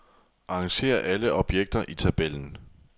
Arrangér alle objekter i tabellen.